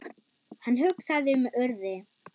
Hann hugsaði um Urði.